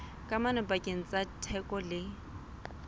kamano pakeng tsa theko le